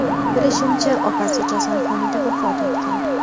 Bilishimcha, opasi kasalxonada vafot etgan.